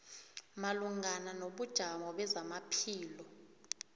malungana nobujamo bezamaphilo